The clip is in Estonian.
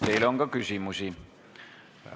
Teile on ka küsimusi.